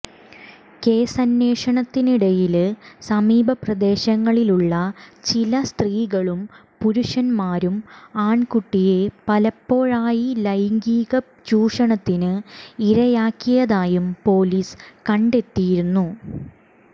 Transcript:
കേസന്വേഷണത്തിനിടയില് സമീപ പ്രദേശങ്ങളിലുള്ള ചില സ്ത്രീകളും പുരുഷന്മാരും ആണ്കുട്ടിയെ പലപ്പോഴായി ലൈംഗീക ചൂഷണത്തിന് ഇരയാക്കിയതായും പൊലീസ് കണ്ടെത്തിയിരുന്നു